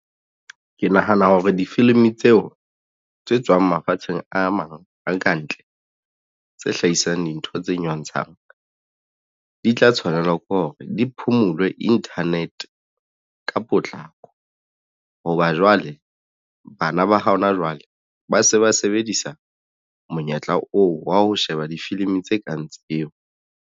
Ke nahana hore difilimi tseo tse tswang mafatsheng a mang a kantle tse hlahisang dintho tse nyontshang di tla tshwanela ke hore di phumulwe internet ka potlako hoba jwale bana ba ha hona jwale ba se ba sebedisa monyetla oo wa ho sheba difilimi tse kang tseo.